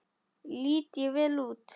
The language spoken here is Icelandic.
Lít ég vel út?